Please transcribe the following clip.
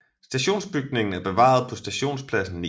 Stationsbygningen er bevaret på Stationspladsen 9